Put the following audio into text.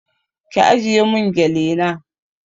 Ki ajiye mun gele na